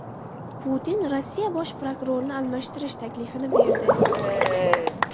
Putin Rossiya bosh prokurorini almashtirish taklifini berdi.